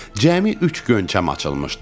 Cəmi üç gönçəm açılmışdı.